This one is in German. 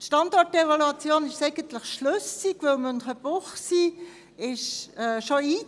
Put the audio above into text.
Die Standortevaluation ist eigentlich schlüssig, denn Münchenbuchsee ist bereits eingezont;